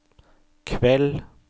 kveld